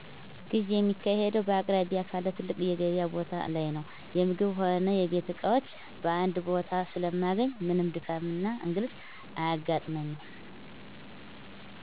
ግዢ የማካሂደው በአቅራቢያ ካለ ትልቅ የገቢያ ቦታ ላይ ነው። የምግብ ሆነ የቤት እቃዎችን በአንድ ቦታ ስለማገኝ ምንም ድካምና እንግልት አያጋጥመኝ።